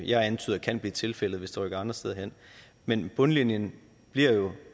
jeg antyder kan blive tilfældet hvis produktionen rykker andre steder hen men bundlinjen bliver jo